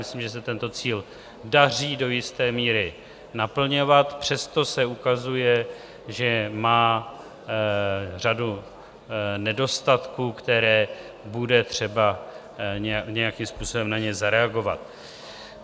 Myslím, že se tento cíl daří do jisté míry naplňovat, přesto se ukazuje, že má řadu nedostatků, které bude třeba nějakým způsobem na ně zareagovat.